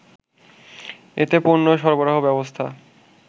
এতেপণ্য সরবরাহ ব্যবস্থা